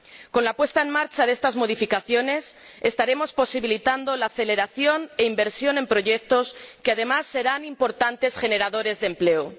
Con la puesta en marcha de estas modificaciones estaremos posibilitando la aceleración e inversión en proyecto que, además, serán importantes generadores de empleo.